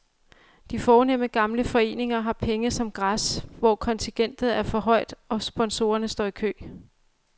De fornemme gamle foreninger har penge som græs, for kontingentet er højt, og sponsorer står i kø.